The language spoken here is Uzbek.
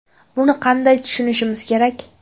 Buni qanday tushunishimiz kerak?